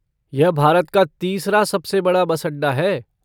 यह भारत का तीसरा सबसे बड़ा बस अड्डा है।